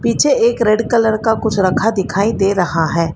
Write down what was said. पीछे एक red colour का कुछ रखा दिखाई दे रहा है।